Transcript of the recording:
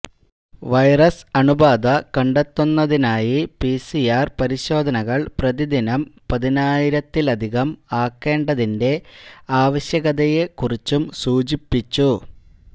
virus അണുബാധ കണ്ടെത്തുന്നതിനായി PCR പരിശോധനകള് പ്രതിദിനം പതിനായിരത്തിലധികം ആക്കേണ്ടതിന്റെ ആവശ്യകതയെക്കുറിച്ചും സൂചിപ്പിച്ചു